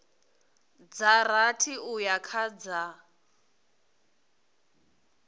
dza rathi uya kha dza